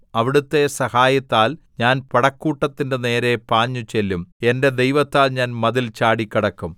അവിടുത്തെ സഹായത്താൽ ഞാൻ പടക്കൂട്ടത്തിന്റെ നേരെ പാഞ്ഞുചെല്ലും എന്റെ ദൈവത്താൽ ഞാൻ മതിൽ ചാടിക്കടക്കും